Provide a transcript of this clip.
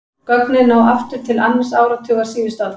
Gögnin ná aftur til annars áratugar síðustu aldar.